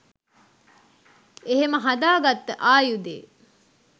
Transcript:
එහෙම හදාගත්ත ආයුදේ